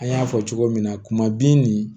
An y'a fɔ cogo min na kuma bin nin